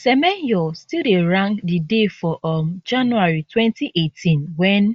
semenyo still dey rank di day for um january 2018 wen